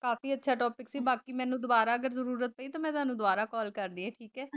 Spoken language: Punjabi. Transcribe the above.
ਕਾਫ਼ੀ ਅੱਛਾ topic ਸੀ ਬਾਕੀ ਮੈਨੂੰ ਦੋਬਾਰਾ ਅਗਰ ਜ਼ਰੂਰਤ ਪਈ ਤਾਂ ਮੈਂ ਤੁਹਾਨੂੰ ਦੋਬਾਰਾ call ਕਰਦੀ ਹੈਂ ਠੀਕ ਹੈ?